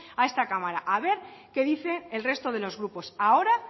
a esta cámara a ver qué dice el resto de los grupos ahora